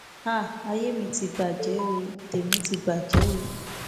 háà ayé mi ti bàjẹ ó tèmi ti bàjẹ o